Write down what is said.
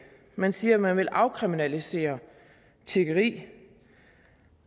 man siger at man vil afkriminalisere tiggeri